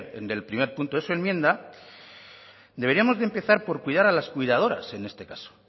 en el primer punto de su enmienda deberíamos de empezar por cuidar a las cuidadoras en este caso